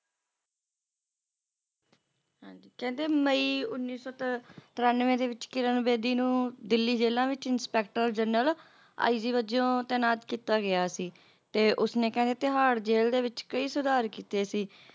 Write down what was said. ਹਾਂਜੀ ਕਹਿੰਦੇ ਮਈ ਉੱਨੀ ਸੌ ਤਰ ਤਰਾਨਵੇਂ ਦੇ ਵਿੱਚ ਕਿਰਨ ਬੇਦੀ ਨੂੰ ਦਿੱਲੀ ਜੇਲ੍ਹਾਂ ਵਿੱਚ ਇੰਸਪੈਕਟਰ Journal IG ਵਜੋਂ ਤੈਨਾਤ ਕੀਤਾ ਗਿਆ ਸੀ ਤੇ ਉਸਨੇ ਕਹਿੰਦੇ ਤੇਹਾੜ ਜੇਲ੍ਹ ਵਿੱਚ ਕਈ ਸੁਧਾਰ ਕੀਤੇ ਸੀ